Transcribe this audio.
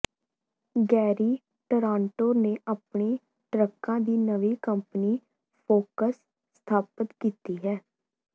Garry Toronto ਨੇ ਆਪਣੀ ਟਰੱਕਾਂ ਦੀ ਨਵੀਂ ਕੰਪਨੀ ਫ਼ੋਕਸ ਸਥਾਪਤ ਕੀਤੀ ਹੈ